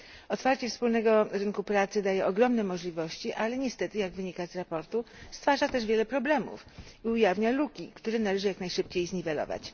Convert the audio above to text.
Otwarcie wspólnego rynku pracy daje ogromne możliwości, ale niestety jak wynika ze sprawozdania stwarza też wiele problemów i ujawnia luki, które należy jak najszybciej zniwelować.